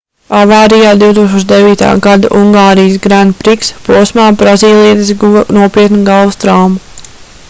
avārijā 2009. gada ungārijas grand prix posmā brazīlietis guva nopietnu galvas traumu